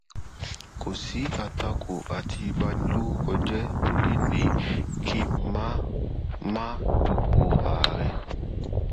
kò sí àtakò àti ìbanilórúkọjẹ tó lè ní kí n má n má dupò ààrẹ